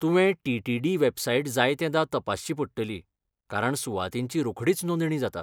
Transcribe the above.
तुवें T. T. D. Website जायतेदां तपासची पडटली, कारण सुवातींची रोखडीच नोंदणी जाता.